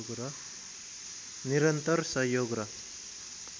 निरन्तर सहयोग र